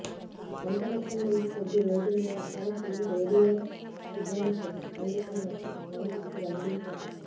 అంతరిక్షం నుంచి కొద్ది రోజులుగా తమకు రేడియో సిగ్నల్స్ అందుతున్నట్లు సైంటిస్టులు వెల్లడించారు